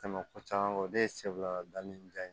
Tɛmɛ ko caman kɔ o de ye sebiarijan ye